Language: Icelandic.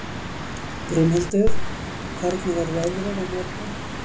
Brimhildur, hvernig er veðrið á morgun?